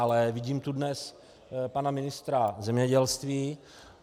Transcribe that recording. Ale vidím tu dnes pana ministra zemědělství.